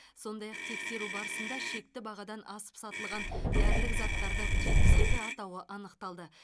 сондай ақ тексеру барысында шекті бағадан асып сатылған дәрілік заттардың жетпіс екі атауы анықталды